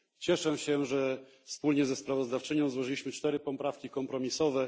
Cieszę się, że wspólnie ze sprawozdawczynią złożyliśmy cztery poprawki kompromisowe.